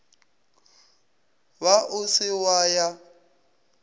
ba o se wa ya